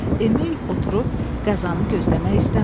Emil oturub qəzanı gözləmək istəmirdi.